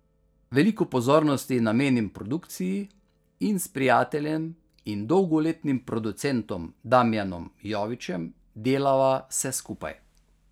Veliko pozornosti namenim produkciji in s prijateljem in dolgoletnim producentom Damjanom Jovićem delava vse skupaj.